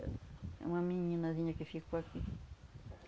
Ahn, é uma meninazinha que ficou aqui.